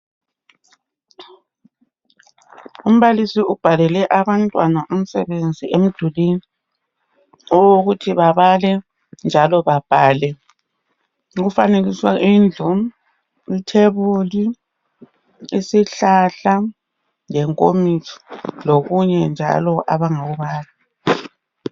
Umbalisi ubhalele abantwana umsebenzi emdulini. Owokuthi babale njalo babhale. Kufanekiswe indlu, ithebuli , isihlahla lenkomitsho lokunye njalo abangakubala.